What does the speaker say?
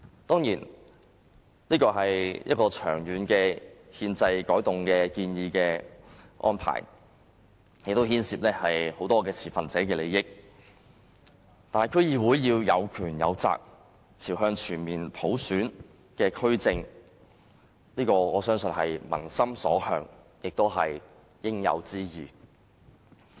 當然，這是長遠的憲制安排改動，亦牽涉眾持份者的利益，但區議會有權有責，朝向全面普選發展，我相信這是民心所向，亦是應有之義。